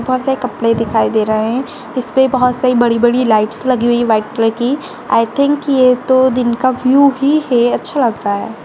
ऊपर से कपड़े दिखाई दे रहा है इस पर बहुत सही बड़ी-बड़ी लाइट्स लगी हुई व्हाइट कलर की आई थिंक ये तो दिन का ब्लू ही है अच्छा लगता है।